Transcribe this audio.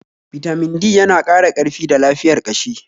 Bitamin D yana ƙara karfi da lafiyar ƙashi